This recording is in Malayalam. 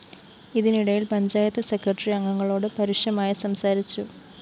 ഇതിനിടയില്‍ പഞ്ചായത്ത് സെക്രട്ടറി അംഗങ്ങളോട് പരുഷമായി സംസാരിച്ചു